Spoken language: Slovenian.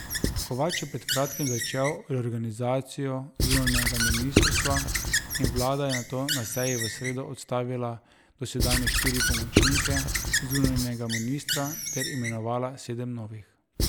Kovač je pred kratkim začel reorganizacijo zunanjega ministrstva in vlada je nato na seji v sredo odstavila dosedanje štiri pomočnike zunanjega ministra ter imenovala sedem novih.